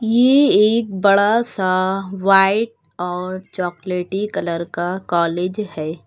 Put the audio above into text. ये एक बड़ा सा व्हाइट और चॉकलेटी कलर का कॉलेज है।